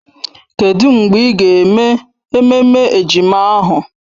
Kedụ mgbe ị ga-eme ememme ejima ahụ?